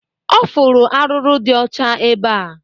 Ọ fụrụ arụrụ dị ọcha ebea